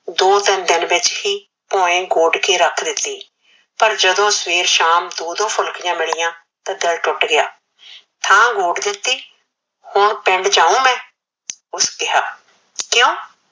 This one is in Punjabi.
ਦੋ ਤਿਨ ਦਿਨ ਵਿਚ ਹੀ ਤੂ ਅਏ ਗੋੰਡ ਕੇ ਰਖ ਦਿਤੀ ਪਰ ਜਦੋ ਸਵੇਰੇ ਸ਼ਾਮ ਦੋ ਦੋ ਫੁਲਕੀਆ ਮਿਲੀਇਆ ਤਾ ਦਿਲ ਟੁਟ ਗਿਆ ਥਾ ਗੋੰਡ ਦਿਤੀ ਹੁਣ ਪਿੰਡ ਜਾਉ ਮੈ ਓਸਨੇ ਕਿਹਾ ਕਿਉ